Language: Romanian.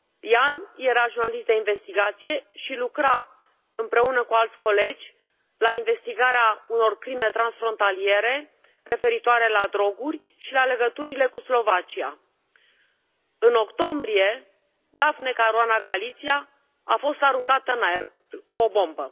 Ján era jurnalist de investigație și lucra împreună cu alți colegi la investigarea unor crime transfrontaliere referitoare la droguri și la legăturile cu Slovacia. În octombrie, Daphne Caruana Galizia a fost aruncată în aer cu o bombă.